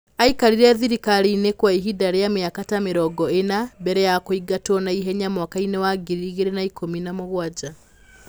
Aikarire thirikari-inĩ kwa ihinda rĩa mĩaka ta mĩrongo ĩna, mbere ya kũingatwo na ihenya mwaka-inĩ wa ngiri igĩrĩ na ikũmi na mũgwanja.